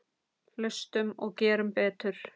Hlustum og gerum betur.